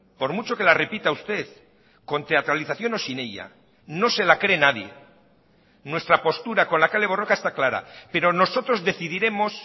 por mucho que la repita usted con teatralización o sin ella no se la cree nadie nuestra postura con la kale borroka está clara pero nosotros decidiremos